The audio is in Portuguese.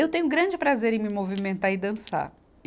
Eu tenho grande prazer em me movimentar e dançar. e